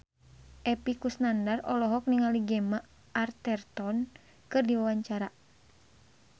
Epy Kusnandar olohok ningali Gemma Arterton keur diwawancara